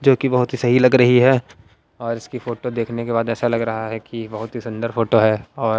क्योंकि बहुत ही सही लग रही है और इसकी फोटो देखने के बाद ऐसा लग रहा है कि बहुत ही सुंदर फोटो है और--